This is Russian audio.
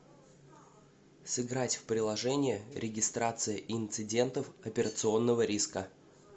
сыграть в приложение регистрация инцидентов операционного риска